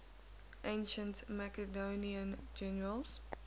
ancient macedonian generals